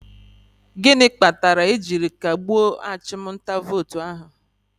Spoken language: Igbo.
Gịnị kpatara e jiri kagbue achụm nta vootu ahụ?